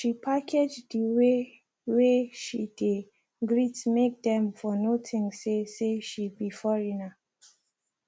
she package the way whey she dey greet make them for no think say say she be foreigner